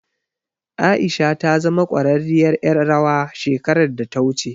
Aisha ta zama ƙwararriyar ƴar rawa shekarar da ta wuce.